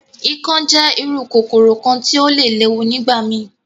Ikán jẹ iru kokoro kan ti o le lewu nigbamii.